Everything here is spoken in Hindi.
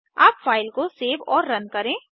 अब फ़ाइल को सेव और रन करें